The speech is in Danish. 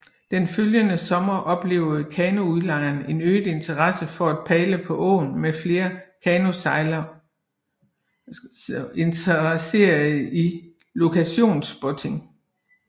Den følgende sommer oplevede kanoudlejere en øget interesse for at padle på åen med flere kanosejlere interesserede i locationspotting